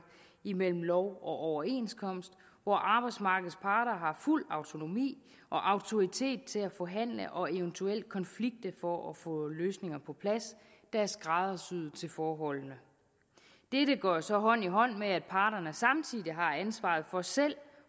imellem lov og overenskomst hvor arbejdsmarkedets parter har fuld autonomi og autoritet til at forhandle og eventuelt konflikte for at få løsninger på plads der er skræddersyet til forholdene dette går så hånd i hånd med at parterne samtidig har ansvaret for selv